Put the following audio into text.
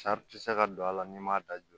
tɛ se ka don a la n'i m'a da jɔ